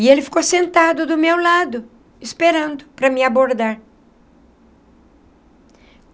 E ele ficou sentado do meu lado, esperando para me abordar.